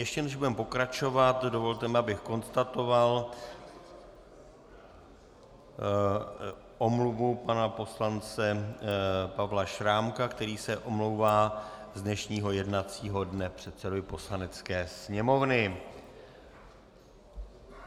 Ještě než budeme pokračovat, dovolte mi, abych konstatoval, omluvu pana poslance Pavla Šrámka, který se omlouvá z dnešního jednacího dne předsedovi Poslanecké sněmovny.